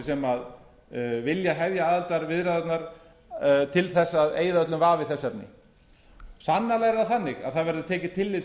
sem vilja hefja aðildarviðræðurnar til þess að eyða öllum vafa í þessu efni sannarlega er það þannig að það verður tekið tillit